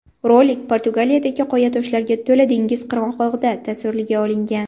Rolik Portugaliyadagi qoyatoshlarga to‘la dengiz qirg‘og‘ida tasvirga olingan.